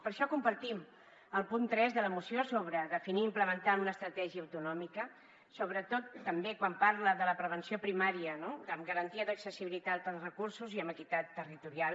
per això compartim el punt tres de la moció sobre definir i implementar una estratègia autonòmica sobretot també quan parla de la prevenció primària no amb garantia d’accessibilitat amb recursos i amb equitat territorial